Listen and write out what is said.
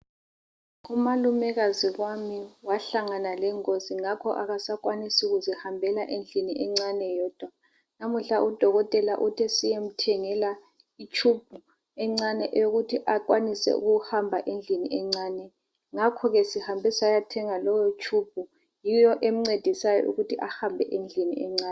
Umalumekazi wami wahlangana lengozi ngakho akasakwanisi ukuzihambela endilini encane yedwa namuhla udokotela uthe siyemthengela itshumbu encane eyokuthi akwanise ukuhamba endlini encane. Ngakho sihambe sayathenga leyo tshumbu yiyo emncedisayo ukuthi ahambe endlini encane.